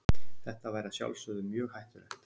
Þetta væri að sjálfsögðu mjög hættulegt.